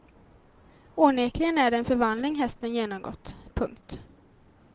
Onekligen är det en förvandling hästen genomgått. punkt